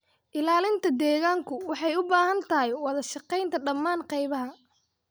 Ilaalinta deegaanku waxay u baahan tahay wada shaqaynta dhammaan qaybaha